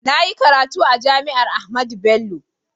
Na yi karatu a JAMI'AR AHMADU BELLO.